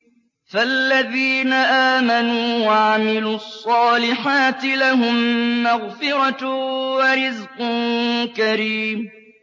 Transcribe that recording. فَالَّذِينَ آمَنُوا وَعَمِلُوا الصَّالِحَاتِ لَهُم مَّغْفِرَةٌ وَرِزْقٌ كَرِيمٌ